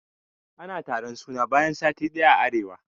Ana taron suna bayan sati ɗaya a arewa.